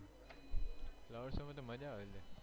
flower show માં તો મજ્જા આવે છે